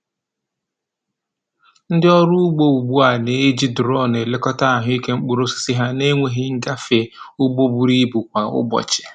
Ndị ọrụ ugbo ugbu a na-eji duronu elekọta ahụike mkpụrụ osisi ha na-enweghị ịgafe ugbo buru ibu kwa ụbọchị.